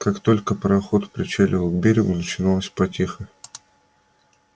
как только пароход причаливал к берегу начиналась потеха